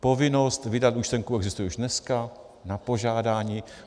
Povinnost vydat účtenku existuje už dneska... na požádání.